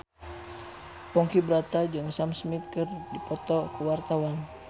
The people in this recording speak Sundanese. Ponky Brata jeung Sam Smith keur dipoto ku wartawan